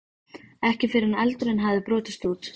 Ekki fyrr en eldurinn hafði brotist út.